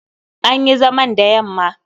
An yi zaman da yamma.